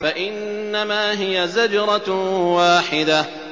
فَإِنَّمَا هِيَ زَجْرَةٌ وَاحِدَةٌ